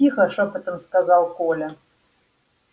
тихо шёпотом сказал коля